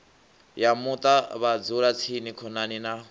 ya muṱa vhadzulatsini khonani na